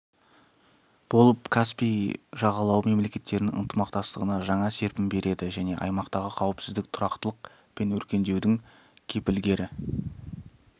болып каспий жағалауы мемлекеттерінің ынтымақтастығына жаңа серпін береді және аймақтағы қауіпсіздік тұрақтылық пен өркендеудің кепілгері